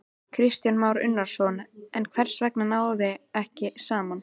Kristján Már Unnarsson: En hvers vegna náðist ekki saman?